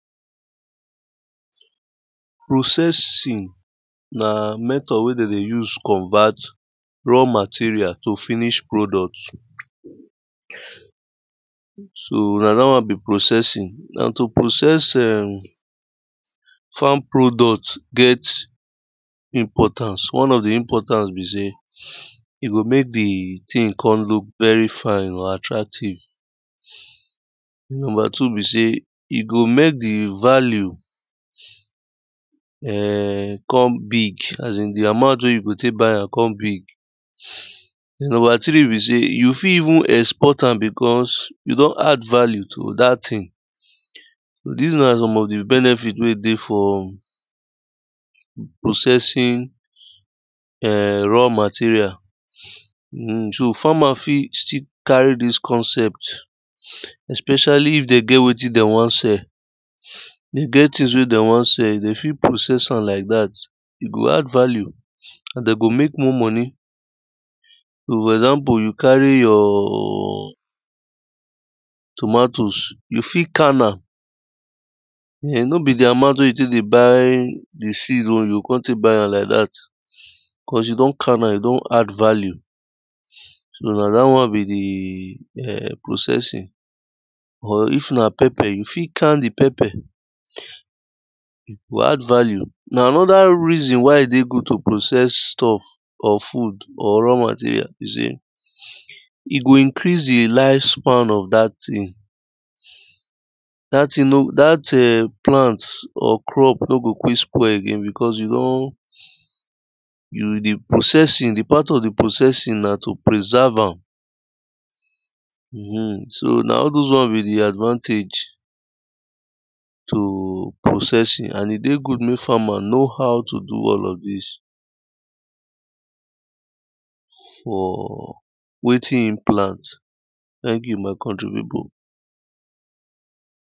processig na method wey de dey use convert raw material to finish product so na dat won be procesing. na to process um farm product get importance and one of di importance be sey e go mek di tin kon lok very fine and attractive, number two be say, e go mek di value um kon big asin di amount wey you o tek buy am kon big. number three be sey you fit even export am because you don add value to dat thing. di one na some of di benefit wey e dey for processing um raw material um so farmer still fit carry dis concept especially if den get wetin dey wan sell, dey get things wey dey won sell den fit process am like dat e go add value and de go mek more money. for example you carry your tomatoes, you fit can am and no be di amount de tek dey by the seed own you o buy am like dat cause you don can am you don add value so na dat wan be di processing. or if na pepper, you fit can di papper go add value and na anoda reason why e dey goo to process stuff of food or raw material, e go increas di life span of dat thing dat thing dat plant or crop no go quick spoil again because you don de processing di part of di processing na to preserve am so na all those one be di advantage to processing and e dey good mek farmer know how to do all of dis for wetin hin plant. thank you my country pipu.